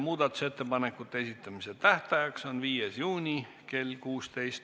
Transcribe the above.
Muudatusettepanekute esitamise tähtaeg on 5. juuni kell 16.